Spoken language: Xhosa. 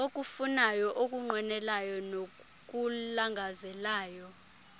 okufunayo okunqwenelayo nokulangazelelayo